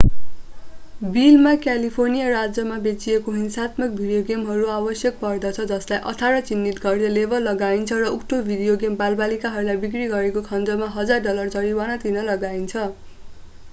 बिलमा क्यालिफोर्निया राज्यमा बेचिएको हिंसात्मक भिडियो गेमहरूको आवश्यक पर्दछ जसलाई 18 चिह्नित गर्दै लेबल लगाइन्छ र उक्त भिडियो गेम बालबालिकाहरूलाई बिक्री गरेको खण्डमा $1000 डलर जरिवाना तिर्न लगाइन्छ